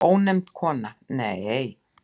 Ónefnd kona: Nei.